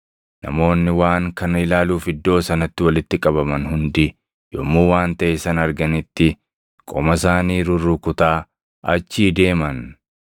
Namoonni waan kana ilaaluuf iddoo sanatti walitti qabaman hundi yommuu waan taʼe sana arganitti qoma isaanii rurrukutaa achii deeman.